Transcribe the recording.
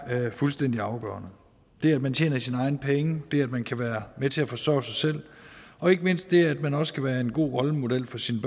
fuldstændig afgørende det at man tjener sine egne penge det at man kan være med til at forsørge sig selv og ikke mindst det at man også kan være en god rollemodel for sine